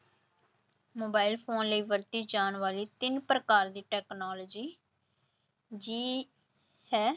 Mobile phone ਲਈ ਵਰਤੇ ਜਾਣ ਵਾਲੇ ਤਿੰਨ ਪ੍ਰਕਾਰ ਦੀ technology ਜੀ ਹੈ।